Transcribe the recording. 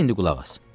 De indi qulaq as.